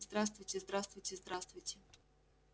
здравствуйте здравствуйте здравствуйте